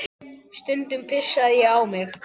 Stundum pissaði ég á mig.